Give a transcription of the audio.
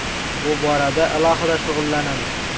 Bu borada alohida shug‘ullanamiz.